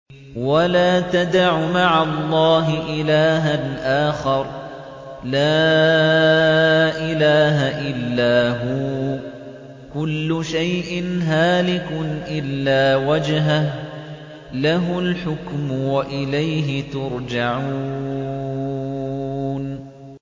وَلَا تَدْعُ مَعَ اللَّهِ إِلَٰهًا آخَرَ ۘ لَا إِلَٰهَ إِلَّا هُوَ ۚ كُلُّ شَيْءٍ هَالِكٌ إِلَّا وَجْهَهُ ۚ لَهُ الْحُكْمُ وَإِلَيْهِ تُرْجَعُونَ